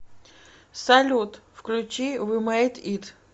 салют включи ви мэйд ит